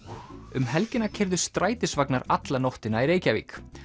um helgina keyrðu strætisvagnar alla nóttina í Reykjavík